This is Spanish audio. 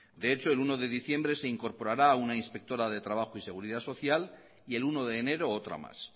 de hecho el uno de diciembre se incorporará una inspectora de trabajo y seguridad social y el uno de enero otra más